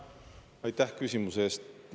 Aitäh küsimuse eest!